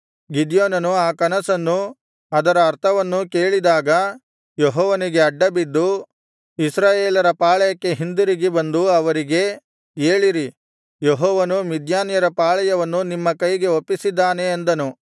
ಗಿದ್ಯೋನನು ಆ ಕನಸನ್ನೂ ಅದರ ಅರ್ಥವನ್ನೂ ಕೇಳಿದಾಗ ಯೆಹೋವನಿಗೆ ಅಡ್ಡಬಿದ್ದು ಇಸ್ರಾಯೇಲರ ಪಾಳೆಯಕ್ಕೆ ಹಿಂದಿರುಗಿ ಬಂದು ಅವರಿಗೆ ಏಳಿರಿ ಯೆಹೋವನು ಮಿದ್ಯಾನ್ಯರ ಪಾಳೆಯವನ್ನು ನಿಮ್ಮ ಕೈಗೆ ಒಪ್ಪಿಸಿದ್ದಾನೆ ಅಂದನು